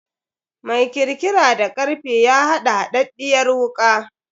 Mai kirkira da karfe ya haɗa haɗaɗɗiyar wuka.